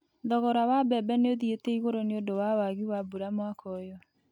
Thogora wa mbembe nĩ ũthiĩte igũrũ nĩ ũndũ wa wagi wa mbura mwaka ũyũ.